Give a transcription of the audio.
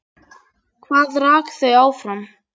Hvað rak þau áfram?